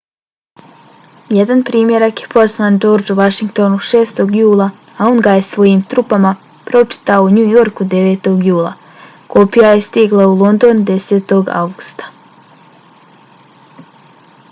jedan primjerak je poslan georgeu vashingtonu 6. jula a on ga je svojim trupama pročitao u njujorku 9. jula. kopija je stigla u london 10. avgusta